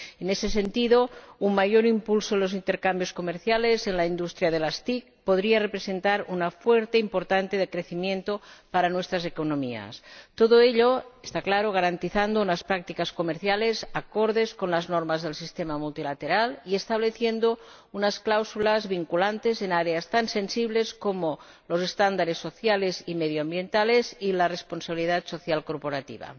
En ese sentido, un mayor impulso en los intercambios comerciales en la industria de las TIC podría representar una fuente importante de crecimiento para nuestras economías, todo ello, claro está, garantizando unas prácticas comerciales acordes con las normas del sistema multilateral y estableciendo unas cláusulas vinculantes en ámbitos tan sensibles como los estándares sociales y medioambientales, y la responsabilidad social corporativa.